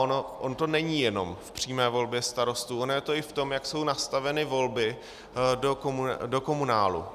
Ono to není jenom v přímé volbě starostů, ono je to i v tom, jak jsou nastaveny volby do komunálu.